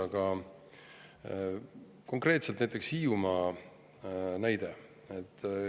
Aga konkreetselt Hiiumaa näide.